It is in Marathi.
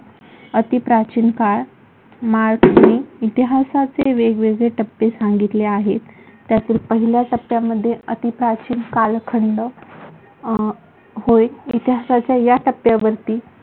अति प्राचीन काळ मार्क्सने इतिहासाचे वेगवेगळे टप्पे सांगितले आहे. त्यातील पहिल्या टप्प्यामध्ये अति प्राचीन कालखंड अं होय. इतिहासाच्या या टप्प्यावरती